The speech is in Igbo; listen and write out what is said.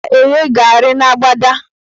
M ga-eghe garị n' agbada